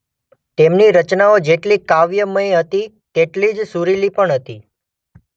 તેમની રચનાઓ જેટલી કાવ્યમય હતી તેટલીજ સુરીલી પણ હતી.